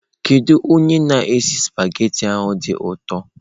Kedu onye na-esi spaghetị a dị ụtọ?